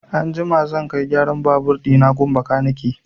Anjima zan kai gyaran babur ɗina gun bakanike.